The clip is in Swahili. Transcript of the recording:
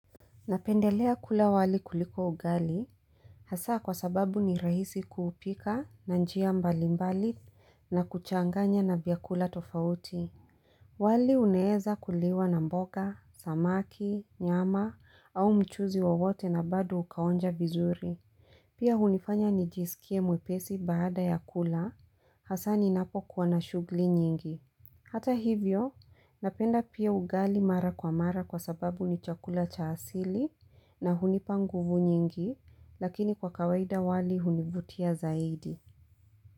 Napendelea kula wali kuliko ugali, hasa kwa sababu ni rahisi kuupika na njia mbalimbali na kuchanganya na vyakula tofauti. Wali unaeza kuliwa na mboga, samaki, nyama au mchuzi wawote na bado ukaonja vizuri. Pia hunifanya nijisikie mwepesi baada ya kula, hasa ninapo kuwa na shughli nyingi. Hata hivyo, napenda pia ugali mara kwa mara kwa sababu ni chakula cha asili na hunipa nguvu nyingi, lakini kwa kawaida wali hunivutia zaidi.